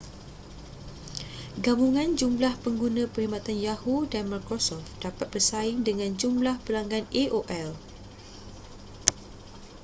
gabungan jumlah pengguna perkhidmatan yahoo dan microsoft dapat bersaing dengan jumlah pelanggan aol